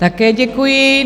Také děkuji.